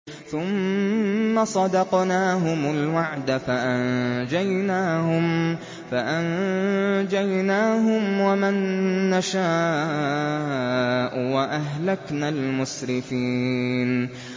ثُمَّ صَدَقْنَاهُمُ الْوَعْدَ فَأَنجَيْنَاهُمْ وَمَن نَّشَاءُ وَأَهْلَكْنَا الْمُسْرِفِينَ